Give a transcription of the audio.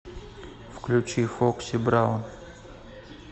включи фокси браун